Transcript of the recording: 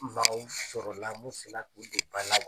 Mɔgɔw sɔrɔlala mun sela k'u don ba la wa ?